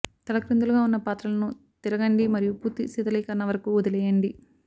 తలక్రిందులుగా ఉన్న పాత్రలను తిరగండి మరియు పూర్తి శీతలీకరణ వరకు వదిలివేయండి